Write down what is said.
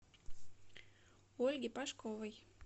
ольги пашковой